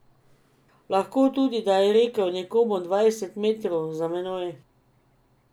Lahko tudi, da je rekel nekomu dvajset metrov za menoj.